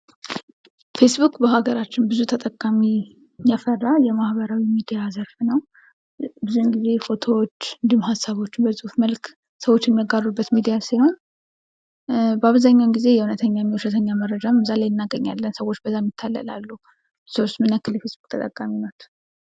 ፌስቡክ በሀገራችን ብዙ ተጠቃሚ ያፈራ የማህበራዊ ሚዲያ ዘርፍ ነዉ። ብዙ ጊዜ ፎቶዎች እንዲሁም ሀሳቦችን በፅሁፍ መልክ የሚያጋሩበት ሚዲያ ሲሆን በአብዛኛዉ ጊዜ እዉነተኛና ዉሸተኛ መረጃን እዚያ ላይ እናገኛለን። ሰዎችም ይታለላሉ። እርስዎስ ምን ያክል ተጠቃሚ ነዎት?